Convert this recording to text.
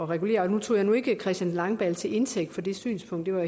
regulere jeg tog nu ikke christian langballe til indtægt for det synspunkt jeg var